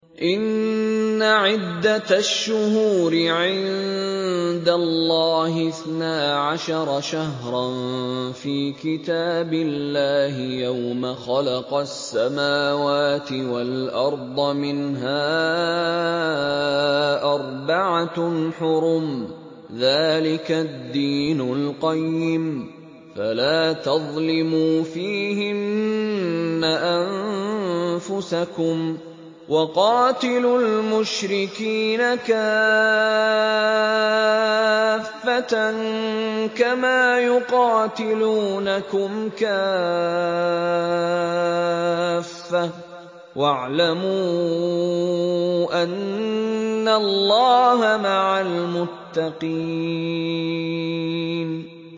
إِنَّ عِدَّةَ الشُّهُورِ عِندَ اللَّهِ اثْنَا عَشَرَ شَهْرًا فِي كِتَابِ اللَّهِ يَوْمَ خَلَقَ السَّمَاوَاتِ وَالْأَرْضَ مِنْهَا أَرْبَعَةٌ حُرُمٌ ۚ ذَٰلِكَ الدِّينُ الْقَيِّمُ ۚ فَلَا تَظْلِمُوا فِيهِنَّ أَنفُسَكُمْ ۚ وَقَاتِلُوا الْمُشْرِكِينَ كَافَّةً كَمَا يُقَاتِلُونَكُمْ كَافَّةً ۚ وَاعْلَمُوا أَنَّ اللَّهَ مَعَ الْمُتَّقِينَ